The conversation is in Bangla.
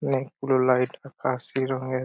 অনেকগুলো লাইট আকাশি রঙের--